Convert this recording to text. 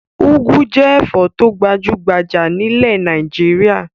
Úgú jẹ́ ẹ̀fọ́ tó gbajú-gbajà nílẹ̀ Nàìjíríà.